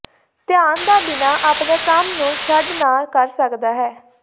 ਧਿਆਨ ਦਾ ਬਿਨਾ ਆਪਣੇ ਕੰਮ ਨੂੰ ਛੱਡ ਨਾ ਕਰ ਸਕਦਾ ਹੈ